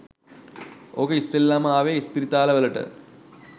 ඕක ඉස්සෙල්ලම ආවෙ ඉස්පිරිතාල වලට.